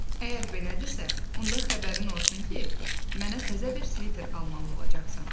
Əgər belədirsə, onda xəbərin olsun ki, mənə təzə bir sviter almalı olacaqsan.